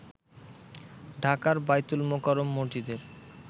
ঢাকার বায়তুল মোকাররম মসজিদের